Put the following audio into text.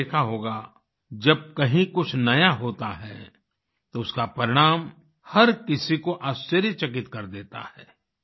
और आपने देखा होगा जब कहीं कुछ नया होता है तो उसका परिणाम हर किसी को आश्चर्यचकित कर देता है